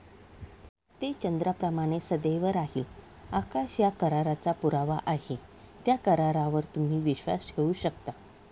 ते चंद्राप्रमाणे सदैव राहील. आकाश या कराराचा पुरावा आहे त्या करारावर तुम्ही विश्वास ठेवू शकता.